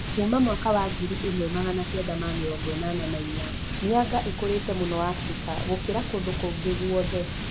Kuuma mwaka wa ngiri ĩmwe Magana kenda ma mĩrongo ĩnana na inya, mĩanga ĩkũrĩte mũno Afrika gũkĩra kũndũ kũngĩ guothe